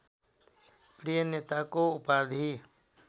प्रिय नेताको उपाधि